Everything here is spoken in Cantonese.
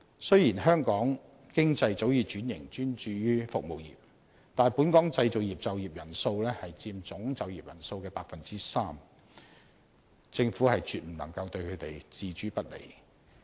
雖然香港經濟早已轉型專注於服務業，但本港製造業就業人數佔總就業人數的 3%， 政府絕不能對他們置之不理。